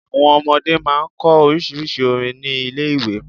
Àwon ọmọdé máa n kọ orísírìsí orin ni Ilé iwe